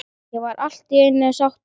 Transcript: Ég var allt í einu sáttur.